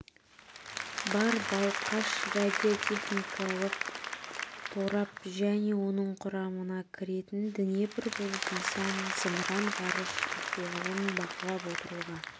бар балқаш радиотехникалық торап және оның құрамына кіретін днепр бұл нысан зымыран-ғарыш ахуалын бақылап отыруға